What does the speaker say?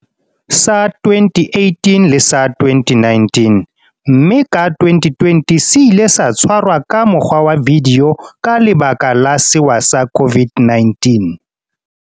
sa 2018 le sa 2019, mme ka 2020 se ile sa tshwarwa ka mokgwa wa vidio ka lebaka la sewa sa COVID-19.